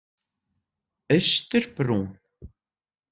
Austurbrún